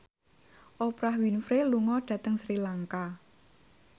Oprah Winfrey lunga dhateng Sri Lanka